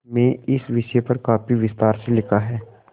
में इस विषय पर काफी विस्तार से लिखा है